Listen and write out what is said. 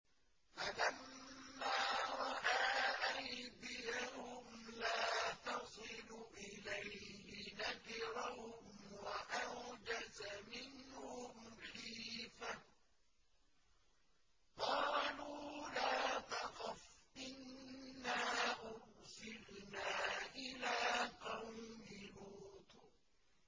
فَلَمَّا رَأَىٰ أَيْدِيَهُمْ لَا تَصِلُ إِلَيْهِ نَكِرَهُمْ وَأَوْجَسَ مِنْهُمْ خِيفَةً ۚ قَالُوا لَا تَخَفْ إِنَّا أُرْسِلْنَا إِلَىٰ قَوْمِ لُوطٍ